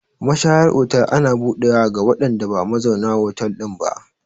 Mashayar otal ana buɗewa ga waɗanda ba mazaunan hotel ɗin ba.